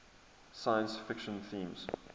science fiction themes